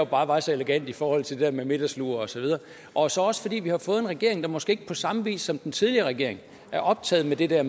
bare var så elegant i forhold til det med middagslur osv og så også fordi vi har fået en regering der måske ikke på samme vis som den tidligere regering er optaget af det der